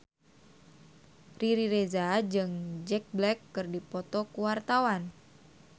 Riri Reza jeung Jack Black keur dipoto ku wartawan